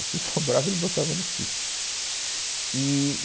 O que sobrava, ele botava no sítio. Eee...